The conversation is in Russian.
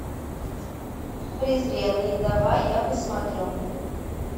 презренный давай я посмотрю